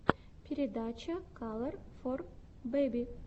передача калор фор бэби